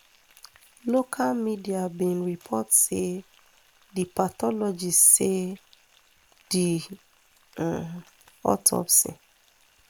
local media bin report say di pathologist say di um autopsy